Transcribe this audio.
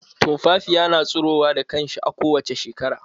Tumfafiya na tsirowa da kanshi kowace shekara.